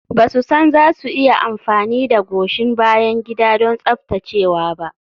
Ba su san za su iya amfani da goshin bayan gida don tsaftacewa ba.